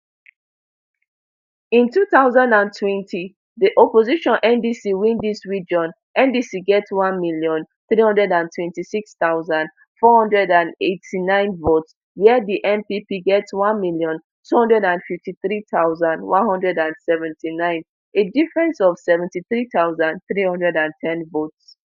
in two thousand and twenty di opposition ndc win dis region ndc get one million, three hundred and twenty-six thousand, four hundred and eighty-nine votes wia di npp get one million, two hundred and fifty-three thousand, one hundred and seventy-nine a difference of seventy-three thousand, three hundred and ten votes